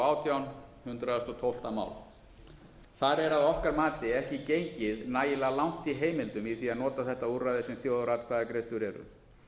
átján hundrað og tólfta mál þar er að okkar mati ekki gengið nægilega langt í heimildum í því að nota þetta úrræði sem þjóðaratkvæðagreiðslur eru